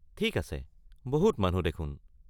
ঠিক আছে, বহুত মানুহ দেখোন।